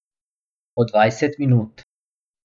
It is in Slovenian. Po dvajset minut.